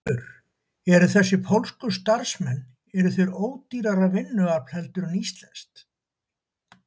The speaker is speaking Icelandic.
Hjörtur: Eru þessir pólsku starfsmenn, eru þeir ódýrara vinnuafl heldur en íslenskt?